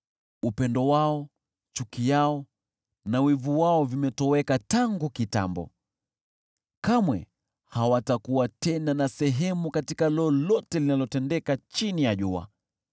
Upendo wao, chuki yao na wivu wao vimetoweka tangu kitambo, kamwe hawatakuwa tena na sehemu katika lolote linalotendeka chini ya jua.